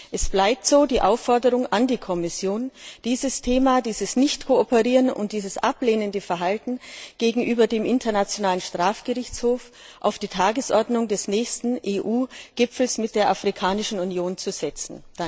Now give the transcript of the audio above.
Deshalb die erneute Aufforderung an die Kommission, dieses Thema des Nichtkooperierens und des ablehnenden Verhaltens gegenüber dem International Strafgerichtshof auf die Tagesordnung des nächsten EU Gipfels mit der Afrikanischen Union zu setzen.